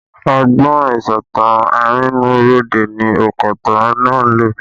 Ọgbọ́n ìsọ̀tàn arínúróde ni onkotan náà lò